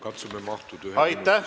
Katsume mahtuda ühe minuti sisse.